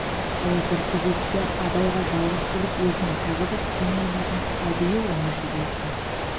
ол бір кезекте абайға жалғыз келіп өзінің тағы бір тың ойларын әдейі оңашада айтқан